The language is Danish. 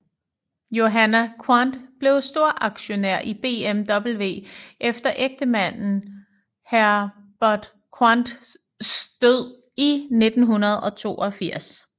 Johanna Quandt blev storaktionær i BMW efter ægtemanden Herbert Quandts død i 1982